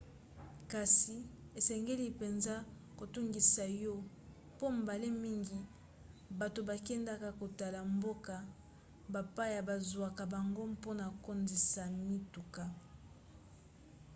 kasi esengeli mpenza kotungisa yo mpo mbala mingi bato bakendaka kotala mboka bapaya bazwaka bango mpona kotondisa mituka